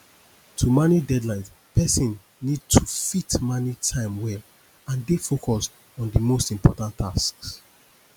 to manage deadlines person need to fit manage time well and dey focused on di most important tasks